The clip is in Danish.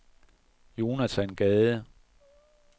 Jonathan Gade